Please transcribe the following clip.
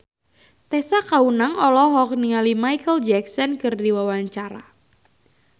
Tessa Kaunang olohok ningali Micheal Jackson keur diwawancara